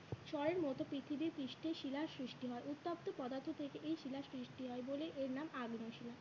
স্বরের মতো পৃথিবী পৃষ্ঠে শিলার সৃষ্টি হয় উত্তপ্ত পদার্থ থেকে এই শিলার সৃষ্টি হয় বলেই এর নাম আগ্নেয় শিলা।